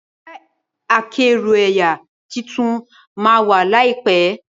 Kẹ̀kẹ́ akẹ́rù ẹyà títún má wá laipẹ